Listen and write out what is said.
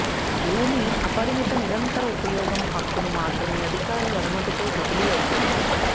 భూమి అపరిమిత నిరంతర ఉపయోగం హక్కును మాత్రమే అధికారులు అనుమతితో బదిలీ అవుతుంది